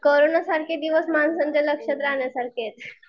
Corona सारखे दिवस माणसांच्या लक्षात राहण्यासारखे आहेत.